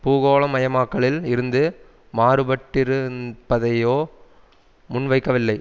பூகோளமயமாக்கலில் இருந்து மாறுபட்டிருந்ப்பதையோ முன்வைக்கவில்லை